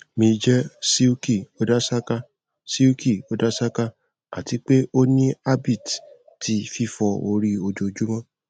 mi jẹ silky odasaka silky odasaka ati pe o ni habit ti fifọ ori ojoojumọ